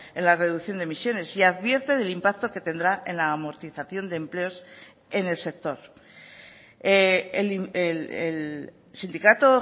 en la reducción de emisiones y advierte del impacto que tendrá en la amortización de empleos en el sector el sindicato